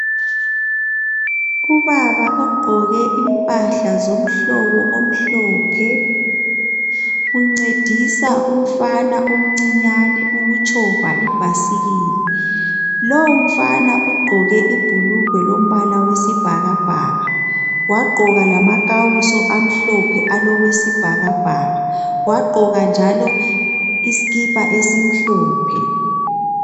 Ubaba ogqoke impahla zomhlobo omhlophe uncedisa umfana omncinyane ukutshova ibhasikili. Lowumfana ugqoke ibhulugwe lombala wesibhakabhaka, wagqoka lamakawuso amhlophe alokwesibhakabhaka, wagqoka njalo isikipa esimhlophe.